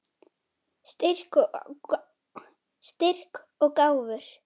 Styrk og gáfur.